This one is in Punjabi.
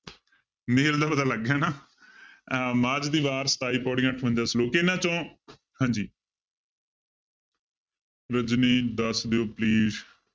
ਮੇਲ ਦਾ ਪਤਾ ਲੱਗ ਗਿਆ ਨਾ ਅਹ ਮਾਝ ਦੀ ਵਾਰ ਸਤਾਈ ਪਾਉੜੀਆਂ ਅਠਵੰਜਾ ਸਲੋਕ ਇਹਨਾਂ ਚੋਂ ਹਾਂਜੀ ਰਜਨੀ ਦੱਸ ਦਿਓ please